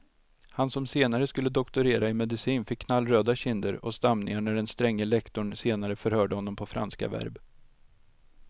Han som senare skulle doktorera i medicin fick knallröda kinder och stamningar när den stränge lektorn senare förhörde honom på franska verb.